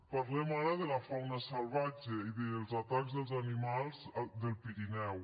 parlem ara de la fauna salvatge i dels atacs dels animals del pirineu